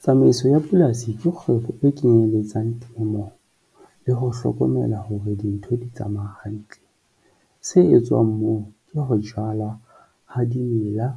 Tsamaiso ya polasi ke kgwebo e kenyelletsang temo le ho hlokomela hore dintho di tsamaya hantle. Se etswang moo ke ho jala ha dimela,